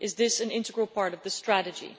Is this an integral part of the strategy?